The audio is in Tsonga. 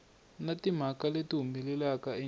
na timhaka leti humelelaka endzeni